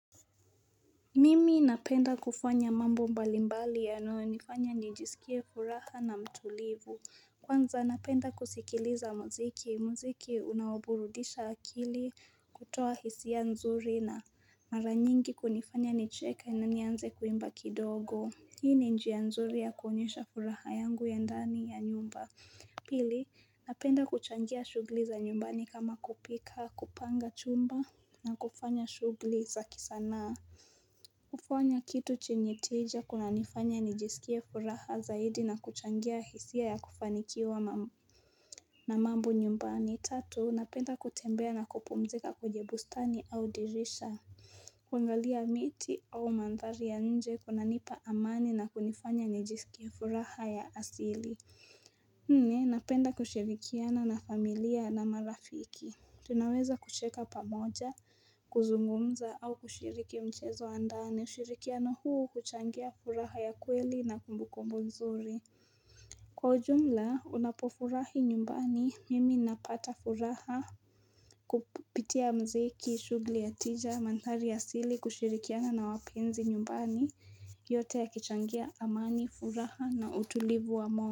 Mimi napenda kufanya mambo mbalimbali yanayonifanya nijisikie furaha na mtulivu Kwanza napenda kusikiliza muziki, muziki unaoburudisha akili kutoa hisia nzuri na mara nyingi kunifanya nicheke na nianze kuimba kidogo Hii ni njia nzuri ya kuonyesha furaha yangu ya ndani ya nyumba Pili, napenda kuchangia shughli za nyumbani kama kupika, kupanga chumba na kufanya shughli za kisanaa kufanya Kitu chenye tija kunanifanya nijisikie furaha zaidi na kuchangia hisia ya kufanikiwa na mambo nyumbani. Tatu, napenda kutembea na kupumzika kwenye bustani au dirisha. Kuangalia miti au mandhari ya nje kunanipa amani na kunifanya nijisikie furaha ya asili. Nne, napenda kushirikiana na familia na marafiki. Tunaweza kusheka pamoja, kuzungumza au kushiriki mchezo andani, ushirikiano huu huchangia furaha ya kweli na kumbukumbu nzuri. Kwa ujumla, unapofurahi nyumbani, mimi napata furaha kupitia mziki, shughli ya tija, mandhari asili, kushirikiana na wapenzi nyumbani, yote yakichangia amani, furaha na utulivu wa moyo.